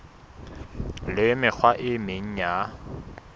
le mekgwa e meng ya